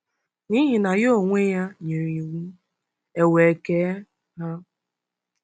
N'ihi na Ya onwe-ya nyere iwu, ewe kee ha.